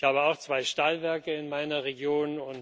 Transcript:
Ich habe auch zwei Stahlwerke in meiner Region.